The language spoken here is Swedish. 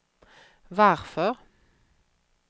varför